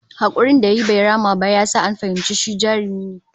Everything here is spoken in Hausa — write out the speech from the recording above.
Hakurin da yayi bai rama ba ya sa an fahimci shi jarumi ne